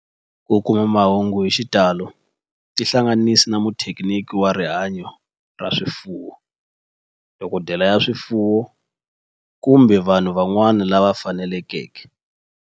Ku kuma mahungu hi xitalo tihlanganisi na muthekiniki wa rihanyo ra swifuwo, dokodela ya swifuwo, kumbe vanhu van'wana lava fanelekeke